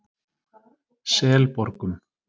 Selborgum